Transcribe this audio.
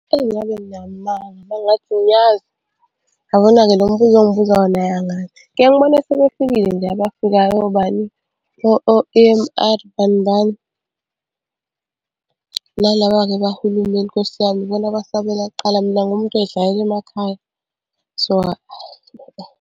Eyi ngabe nginamanga uma ngingathi ngiyazi. Yabona-ke lo mbuzo ongibuza wona hhayi angazi. Ngiyeke ngibone sebefikile nje abafikayo obani, E_N_R bani bani. Nalaba-ke bakahulumeni nkosi yami ibona abasabela kuqala mina ngiwumuntu oy'hlalela emakhaya so .